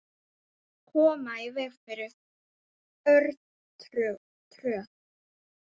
Koma í veg fyrir örtröð.